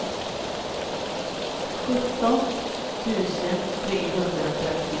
sjutton tusen trehundratrettiosju